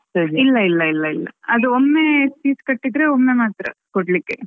ಇಲ್ಲ ಇಲ್ಲ ಇಲ್ಲ ಇಲ್ಲ ಅದು ಒಮ್ಮೆ fees ಕಟ್ಟಿದ್ರೆ ಒಮ್ಮೆ ಮಾತ್ರ ಕೊಡ್ಲಿಕ್ಕೆ.